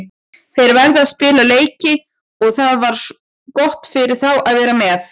Þeir verða að spila leiki og það var gott fyrir þá að vera með.